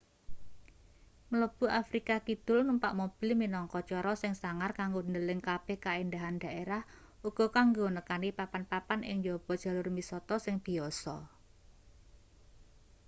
mlebu afrika kidul numpak mobil minangka cara sing sangar kanggo ndeleng kabeh kaendahan derah uga kanggo nekani papan-papan ing njaba jalur misata sing biyasa